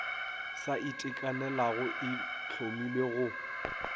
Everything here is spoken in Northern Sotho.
sa itekanelago e hlomilwe go